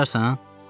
Yazarsan?